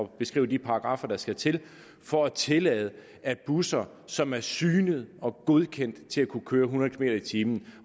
beskrive de paragraffer der skal til for at tillade at busser som er synet og godkendt til at kunne køre hundrede kilometer per time